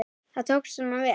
Það tókst svona vel.